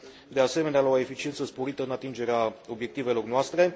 de asemenea, la o eficiență sporită în atingerea obiectivelor noastre.